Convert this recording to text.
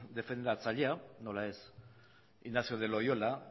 defendatzailea nola ez ignacio de loyola